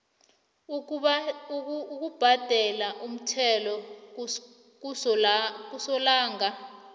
ukubhadela umthelo kasolanga